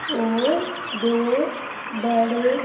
और दो बड़े--